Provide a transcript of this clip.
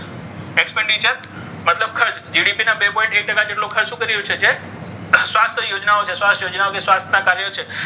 બધા લોકોને છે. GDP ના બે પોઈન્ટ એક ટકા જેટલો ખર્ચ શું કર્યો છે? સ્વાસ્થ્ય યોજનાઓ છે સ્વાસ્થ્ય ના જે કાર્ય છે.